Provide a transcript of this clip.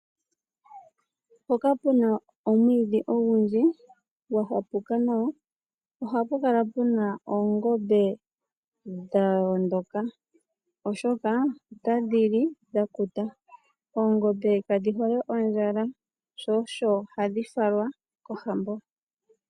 Mpoka puna omwiidhi ogundji gwahapuka nawa ohapu kala puna oongombe dha hondoka oshoka otadhi li dhakuta. Oongombe kadhi hole ondjala shosho hadhi falwa kohambo.